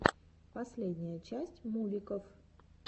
последняя часть мувиков